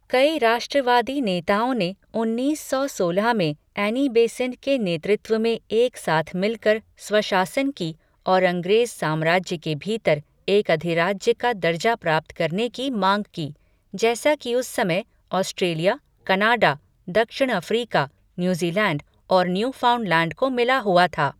कई राष्ट्रवादी नेताओं ने उन्नीस सौ सोलह में एनी बेसेंट के नेतृत्व में एक साथ मिलकर स्वशासन की और अंग्रेज साम्राज्य के भीतर एक अधिराज्य का दर्जा प्राप्त करने की माँग की, जैसा कि उस समय ऑस्ट्रेलिया, कनाडा, दक्षिण अफ्रीका, न्यूज़ीलैण्ड और न्यूफाउंडलैंण्ड को मिला हुआ था।